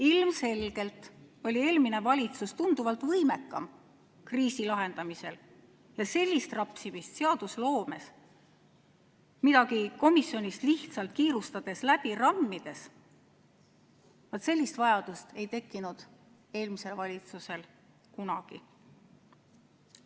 Ilmselgelt oli eelmine valitsus tunduvalt võimekam kriisi lahendamisel ja sellist rapsimist seadusloomes midagi komisjonist lihtsalt kiirustades läbi rammides – vaat sellist vajadust ei tekkinud eelmisel valitsusel kunagi.